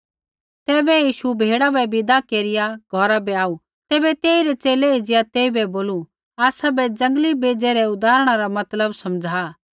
तैबै यीशु भीड़ा बै विदा केरिया घौरा बै आऊ तैबै तेइरै च़ेले एज़िया तेइबै बोलू आसाबै जंगली बेज़ै रै उदाहरणा रा मतलब समझ़ा